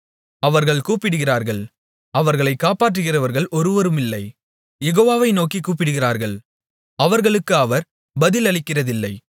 அவர்கள் கூப்பிடுகிறார்கள் அவர்களைக் காப்பாற்றுகிறவர்கள் ஒருவருமில்லை யெகோவாவை நோக்கிக் கூப்பிடுகிறார்கள் அவர்களுக்கு அவர் பதிலளிக்கிறதில்லை